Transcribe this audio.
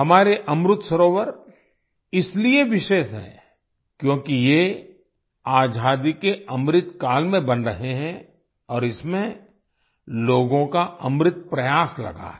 हमारे अमृत सरोवर इसलिए विशेष हैं क्योंकि ये आजादी के अमृत काल में बन रहे हैं और इसमें लोगों का अमृत प्रयास लगा है